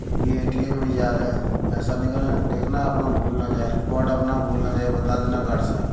ये भी A .T .M. में जा रहे है पैसा निकालने देखना अपना भूल ना जाए कोड अपना भूल ना जाए बता देना गार्ड साहेब।